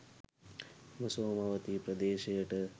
මෙම සෝමවතී ප්‍රදේශයට